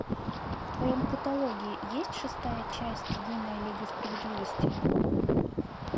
в твоем каталоге есть шестая часть юная лига справедливости